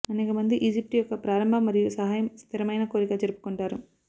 అనేక మంది ఈజిప్టు యొక్క ప్రారంభ మరియు సహాయం స్థిరమైన కోరిక జరుపుకుంటారు